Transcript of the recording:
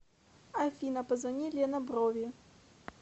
афина позвони лена брови